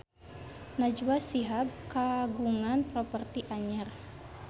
Najwa Shihab kagungan properti anyar